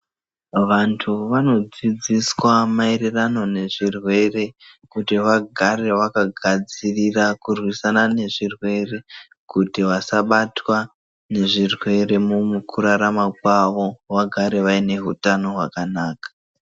Vantu vanodzidziswa maererano nezvirwere kuti vagare vakagadzirira kurwisana nezvirwere kuti vasabatwa nezvirwere mumukurarama kwavo vagare vaine hutano hwakanaka.